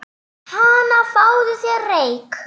Hana, fáðu þér reyk